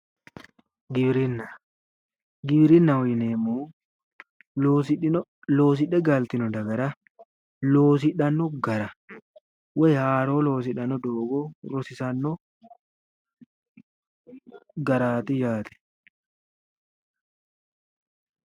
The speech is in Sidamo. Giwirinna, giwirinaho yinneemmohu loosidhe galitino dagara loosidhe gallittano gara woyi haaro loosidhano duduwo loosidhanno garaati yaate